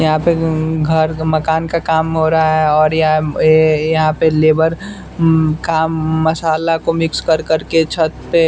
यहाँ पे गम घर मकान का काम हो रहा है और य यहाँ म ऐऐ यहाँ पे लेबर म्म काम मसाला को मिक्स कर कर के छत पे --